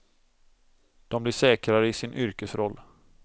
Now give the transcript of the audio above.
De blir säkrare i sin yrkesroll.